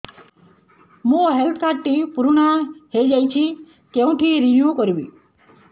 ମୋ health card ଟି ପୁରୁଣା ହେଇଯାଇଛି କେଉଁଠି ରିନିଉ କରିବି